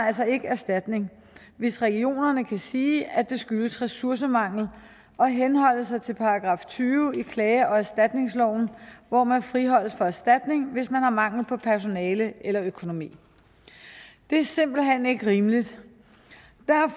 altså ikke erstatning hvis regionerne kan sige at det skyldes ressourcemangel og henholde sig til § tyve i klage og erstatningsloven hvor man friholdes fra erstatning hvis man har mangel på personale eller økonomi det er simpelt hen ikke rimeligt